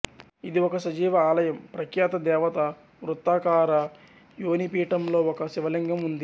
ఇది ఒక సజీవ ఆలయం ప్రఖ్యాత దేవత వృత్తాకార యోనిపీఠంలో ఒక శివలింగం ఉంది